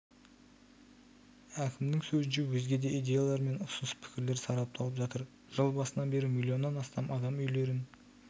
әкімнің сөзінше өзге де идеялар мен ұсыныс-пікірлер сарапталып жатыр жыл басынан бері миллионнан астам адам үйлерін